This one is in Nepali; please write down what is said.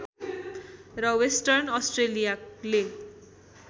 र वेस्टर्न अस्ट्रेलियाले